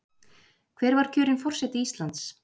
Hver var kjörinn forseti Íslands?